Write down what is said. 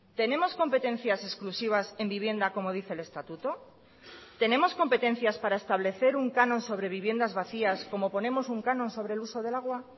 tenemos competencias exclusivas en vivienda como dice el estatuto tenemos competencias para establecer un canon sobre viviendas vacías como ponemos un canon sobre el uso del agua